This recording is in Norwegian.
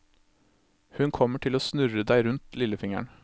Hun kommer til å snurre deg rundt lillefingeren.